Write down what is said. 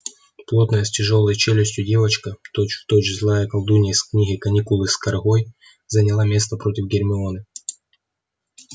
плотная с тяжёлой челюстью девочка точь-в-точь злая колдунья из книги каникулы с каргой заняла место против гермионы